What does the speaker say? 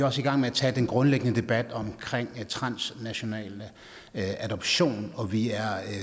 også i gang med at tage den grundlæggende debat om transnational adoption og vi er